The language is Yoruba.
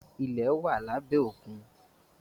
ilẹ̀ wá labẹ Òkun.